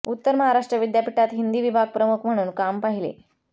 उत्तर महाराष्ट्र विद्यापीठात हिंदी विभाग प्रमुख म्हणून काम पाहिले